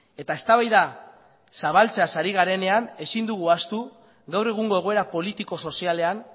eta eztabaida zabaltzeaz ari garenean ezin dugu ahaztu gaur egungo egoera politiko sozialean